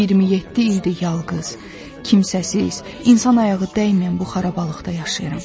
27 ildir yalqız, kimsəsiz, insan ayağı dəyməyən bu xarabalıqda yaşayıram.